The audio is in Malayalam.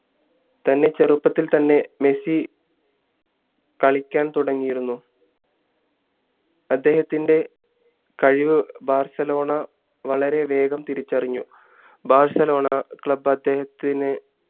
നന്നേ ചെറുപ്പത്തിൽ തന്നെ മെസ്സി കളിക്കാൻ തുടങ്ങീരുന്ന അദ്ദേഹത്തിൻറെ കഴിവ് ബാർസലോണ വളരെ വേഗം തിരിച്ചറിഞ്ഞു ബാഴ്സലോണ club അദ്ദേഹത്തിന്